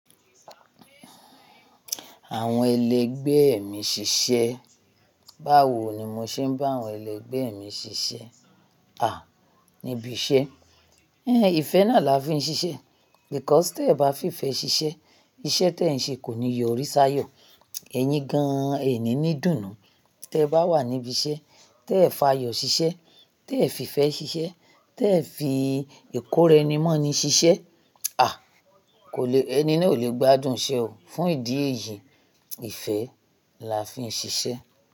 Àwọn ẹlẹgbẹ́ mi ṣiṣẹ́. Báwo ni mo ṣe ń bá àwọn ẹlẹgbẹ́ mi ṣiṣẹ́? À, níbi iṣẹ́. Éhn ìfẹ́ náà là á fi ṣiṣẹ́. Because tí ẹ bá fi ìfẹ́ ṣiṣẹ́, iṣẹ́ tí ẹ ń ṣe kò ní yọ oríṣà yọ̀. Ẹ̀yin gan-an ẹ ní ní dùnnú. Tí ẹ bá wà níbi iṣẹ́, tí ẹ f'ayọ̀ ṣiṣẹ́, tí ẹ fi ìfẹ́ ṣiṣẹ́, tí ẹ fi ìkórenimọ́ni ṣiṣẹ́, à, kò lè, ẹni náà ò lè gbádùn iṣẹ́ o. Fún ìdí èyí, ìfẹ́ là á fi ṣiṣẹ́